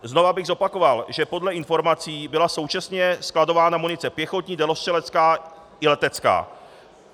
Znovu bych zopakoval, že podle informací byla současně skladována munice pěchotní, dělostřelecká i letecká.